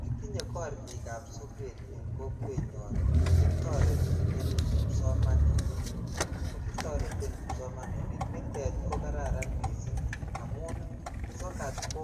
Kitinye korik ab sokat en kokwenyon netoreti en nekitoreten kipsomaninik nite ko kararan missing amun sokat ko